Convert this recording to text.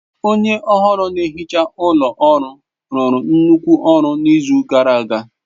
Onye ohuru na-ehicha ụlọ ọrụ rụrụ nnukwu ọrụ n'izu gara aga.